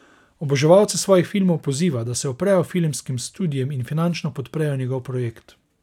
Oboževalce svojih filmov poziva, da se uprejo filmskim studiem in finančno podprejo njegov projekt.